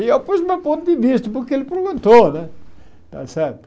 E eu pus meu ponto de vista, porque ele perguntou né. Está certo